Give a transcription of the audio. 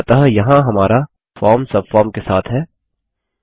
अतः यहाँ हमारा फॉर्म सबफॉर्म के साथ है